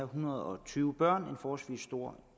hundrede og tyve børn en forholdsvis stor